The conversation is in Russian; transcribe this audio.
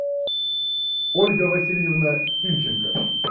ольга васильевна тимченко